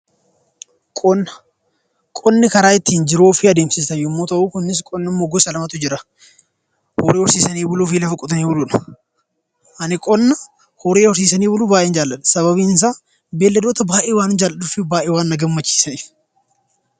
Qonni karaa ittiin jiruu ofii adeemsisan yommuu ta'u, kunis qonni gosa lamatu jira: horii horsiisanii buluu fi lafa qotanii buluudha. Ani qonna horii horsiisanii buluu baay'een jaaladha. Sababiin isaa beeyladoota baay'ee waanan jaaladhuu fi baay'ee waan na gammachiisaniifi!